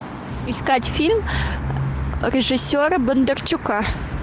искать фильм режиссера бондарчука